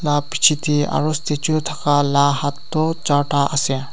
la picheyte aro statue thaka la hat du charta asey.